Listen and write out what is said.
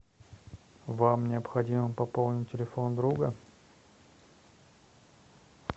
вам необходимо пополнить телефон друга